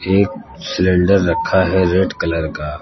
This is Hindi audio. एक सिलेंडर रखा है रेड कलर का।